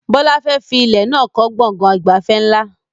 Bọlá fẹ́ fi ilẹ̀ náà kọ́ gbọ̀ngàn ìgbafẹ́ ńlá